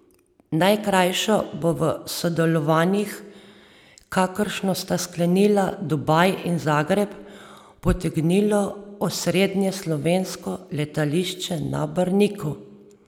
Najkrajšo bo v sodelovanjih, kakršno sta sklenila Dubaj in Zagreb, potegnilo osrednje slovensko letališče na Brniku.